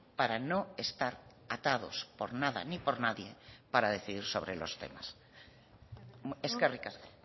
para no estar atados por nada ni por nadie para decidir sobre los temas eskerrik asko